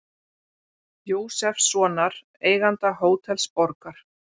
Jósefssonar, eiganda Hótels Borgar.